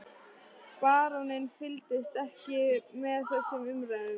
Baróninn fylgdist ekki með þessum umræðum.